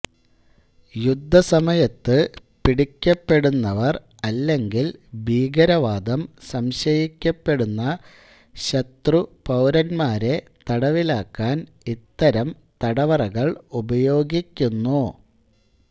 യുദ്ധസമയത്ത് പിടിക്കപ്പെടുന്നവർ അല്ലെങ്കിൽ ഭീകരവാദം സംശയിക്കപ്പെടുന്ന ശത്രു പൌരന്മാരെ തടവിലാക്കാൻ ഇത്തരം തടവറകൾ ഉപയോഗിക്കുന്നു